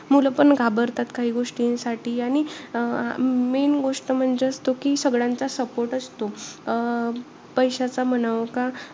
मुलं पण घाबरतात काही गोष्टींसाठी. आणि अं main गोष्ट म्हणजे असतो कि, सगळ्यांचा support असतो. अं पैशाचा म्हणावा का,